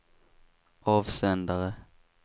avsändare